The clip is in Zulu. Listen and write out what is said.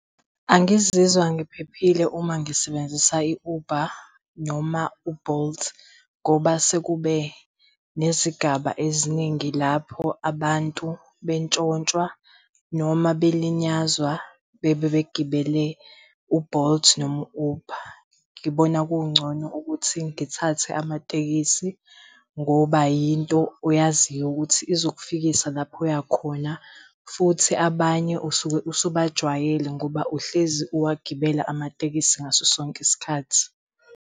Angizizwa ngiphephile uma ngisebenzisa i-Uber noma u-Bolt ngoba sekube nezigaba eziningi lapho abantu bentshontshwa noma belinyazwa bebe begibele u-Bolt noma u-Uber. Ngibona kungcono ukuthi ngithathe amatekisi ngoba yinto oyaziyo ukuthi izokufikisa lapho uyakhona, futhi abanye usuke usubajwayele ngoba uhlezi uwagibela amatekisi ngaso sonke isikhathi.